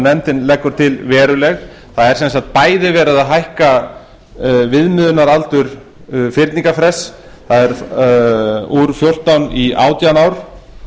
nefndin leggur til veruleg það er sem sagt bæði verið að hækka viðmiðunaraldur viðmiðunarfrests úr fjórtán í átján ár